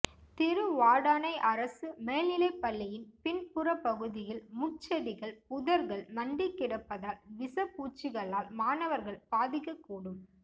திருவாடானை அரசு மேல் நிலைப்பள்ளியின் பின்புறப்பகுதயில் முட்செடிகள் புதா்கள் மண்டி கிடப்பதால் விசப்பூச்சிகளால் மாணவா்கள் பாதிக்ககூடும்